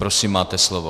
Prosím, máte slovo.